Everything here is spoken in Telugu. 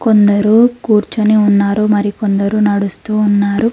కొందరూ కూర్చొని ఉన్నారు మరి కొందరు నడుస్తూ ఉన్నారు.